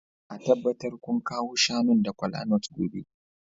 A tabbatar kun kawo shanun da kolanut gobe